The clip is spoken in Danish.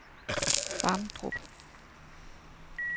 Vamdrup